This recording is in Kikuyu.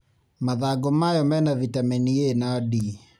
Mathangũ mayo mena Vitameni A na D.